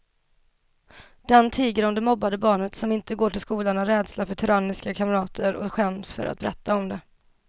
Den tiger om det mobbade barnet som inte går till skolan av rädsla för tyranniska kamrater och skäms för att berätta om det.